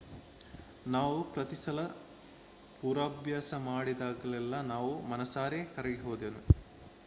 ನಾವು ಪ್ರತಿಸಲ ಪೂರ್ವಾಭ್ಯಾಸ ಮಾಡಿದಾಗಲೆಲ್ಲಾ ನಾನು ಮನಸಾರೆ ಕರಗಿ ಹೋದೆನು